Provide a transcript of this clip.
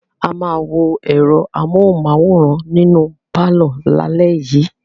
A máa wo ẹ̀rọ amóhùmáwòhán nínú pálọ̀ lálẹ́ yìí.